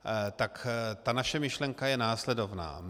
Tak ta naše myšlenka je následovná.